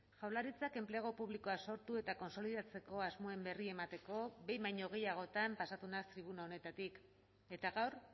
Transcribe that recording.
jaurlaritzak enplegu publikoa sortu eta kontsolidatzeko asmoen berri emateko behin baino gehiagotan pasatu naiz tribuna honetatik eta gaur